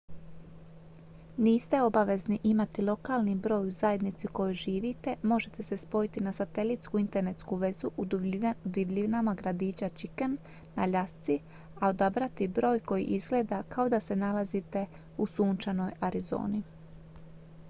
niste obvezni imati lokalni broj u zajednici u kojoj živite možete se spojiti na satelitsku internetsku vezu u divljinama gradića chicken na aljasci a odabrati broj koji izgleda kao da se nalazite u sunčanoj arizoni